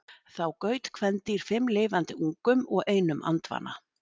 þá gaut kvendýr fimm lifandi ungum og einum andvana